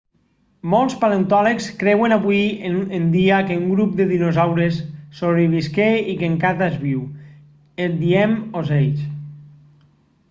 molts paleontòlegs creuen avui en dia que un grup de dinosaures sobrevisqué i que encata és viu en diem ocells